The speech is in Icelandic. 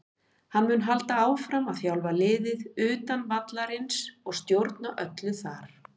Hann mun halda áfram að þjálfa liðið utan vallarins og stjórna öllu þar.